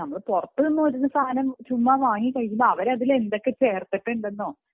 നമ്മൾ പുറത്തുനിന്നുള്ള സാധനങ്ങൾ ചുമ്മാ വാങ്ങി കഴിക്കുമ്പോൾ അവരതിൽ എന്തൊക്കെ ചേർത്തിട്ടുണ്ടെന്നോ